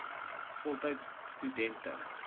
voltydse stu dente